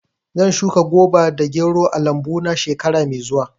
Zan shuka goba da gero a lambu na shekara mai zuwa.